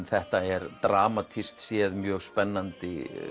þetta er dramatískt séð mjög spennandi